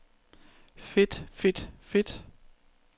fedt fedt fedt